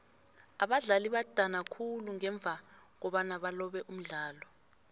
abadlali badana khulu ngemva kobana balobe umdlalo